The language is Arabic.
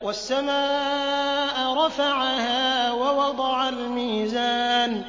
وَالسَّمَاءَ رَفَعَهَا وَوَضَعَ الْمِيزَانَ